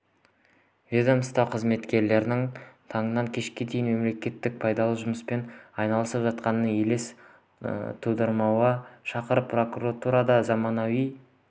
ведомство қызметкерлері таңнан кешке дейін мемлекетке пайдалы жұмыспен айналысып жатқандай елес тудырмауға шақырды прокуратурада заманауи